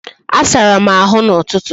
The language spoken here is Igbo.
Asara m ahụ n'ụtụtụ